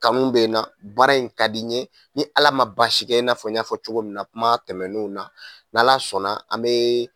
Kanu bɛ na baara in ka di n ye ni Ala ma baasi kɛ i n'a fɔ n y'a fɔ cogo min na kuma tɛmɛnenw na n'Ala sɔnna an bɛ